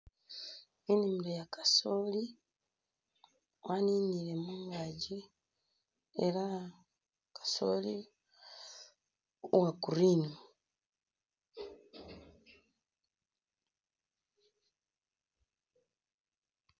Inimilo ya kamooli waninile mungakyi ela kasooli uwa green.